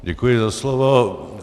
Děkuji za slovo.